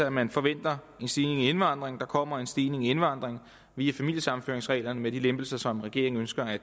at man forventer en stigning i indvandringen der kommer en stigning i indvandringen via familiesammenføringsreglerne med de lempelser som regeringen ønsker at